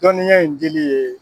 Dɔnniya in dili ye.